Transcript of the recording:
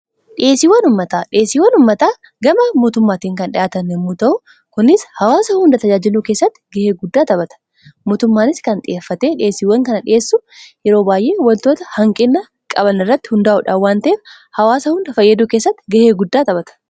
Dhiheesiiwwan ummataa, dhihesiiwwan ummataa gama mootummaatiin kan dhiyaatan yomuu ta'u kunis hawaasa hundaa tajaajiluu keessatti gahee guddaa taphataa. Mootummaanis kan xiyeeffate dhiyeesiiwwan kana dhiheessu yeroo baay'ee wantoota hanqiina qabaan irratti hundaa'uudhaan waan ta'eef hawaasa hundaa fayyaduu keessatti ga'ee guddaa taphaata.